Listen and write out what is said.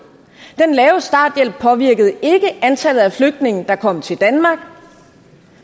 den lave starthjælp påvirkede ikke antallet af flygtninge der kom til danmark